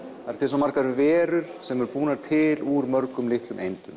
það eru til svo margar verur sem eru búnar til úr mörgum litlum